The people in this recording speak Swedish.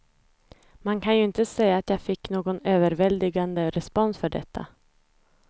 Man kan ju inte säga att jag fick någon överväldigande respons för detta.